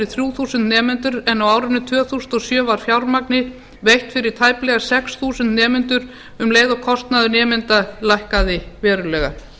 þrjú þúsund nemendur en á árinu tvö þúsund og sjö var fjármagni veitt fyrir tæplega sex þúsund nemendur um leið og kostnaður nemenda lækkaði verulega